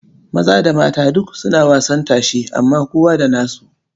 Maza da mata duk suna wasan tashe amma kowa da nasu.